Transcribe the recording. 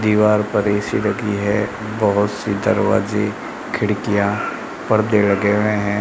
दीवार पर ए_सी लगी है बहोत सी दरवाजे खिड़कियां परदे लगे हुए हैं।